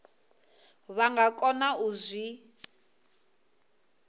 vha nga kona u zwi